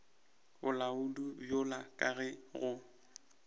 bolaodi bjalo ka ge go